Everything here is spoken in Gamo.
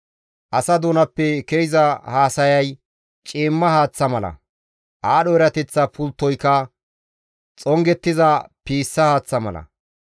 Asa doonappe ke7iza haasayay ciimma haaththa mala; aadho erateththa pulttoyka xongettiza piissa haaththaa mala.